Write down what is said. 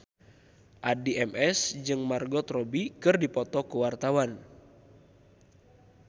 Addie MS jeung Margot Robbie keur dipoto ku wartawan